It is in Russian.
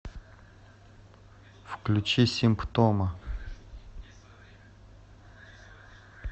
включи симптома